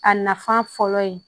A nafa fɔlɔ ye